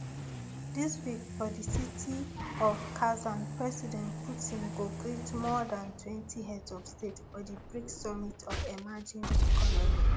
dis week for di city of kazan president putin go greet more dan twenty heads of state for di brics summit of emerging economies